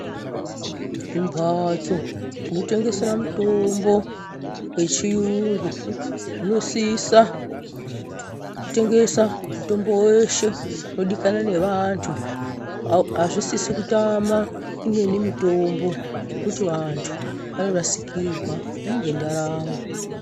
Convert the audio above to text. Zvimbatso zvinotengesera mutombo wechiyungu zvinosisa kutengesa mutombo weshe unodikanwa ngevantu. Hazvisisi kutama imweni mitombo ngekuti vantu vanorasikirwa ngendaramo.